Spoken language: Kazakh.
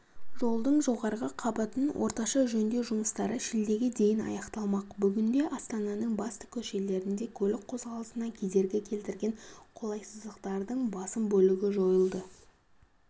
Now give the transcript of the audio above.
жолдың жоғарғы қабатын орташа жөндеу жұмыстары шілдеге дейін аяқталмақ бүгінде астананың басты көшелерінде көлік қозғалысына кедергі келтірген қолайсыздықтардың басым бөлігі жойылды